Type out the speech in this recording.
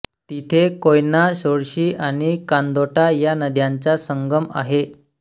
तिथे कोयना सोळशी आणि कांदोटा या नद्यांचा संगम आहे